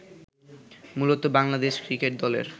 মূলত বাংলাদেশ ক্রিকেট দলের